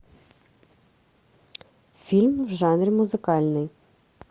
фильм в жанре музыкальный